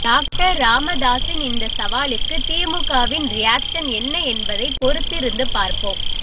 doctor ராமதாஸின் இந்த சவாலுக்கு திமுகவின் ரியாக்சன் என்ன என்பதை பொறுத்திருந்து பார்ப்போம்